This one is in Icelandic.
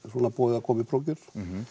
svona boðið að koma í prófkjör